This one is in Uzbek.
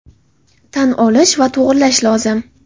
tan olish va to‘g‘rilash lozim!.